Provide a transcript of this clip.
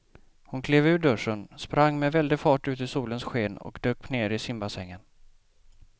Hon klev ur duschen, sprang med väldig fart ut i solens sken och dök ner i simbassängen.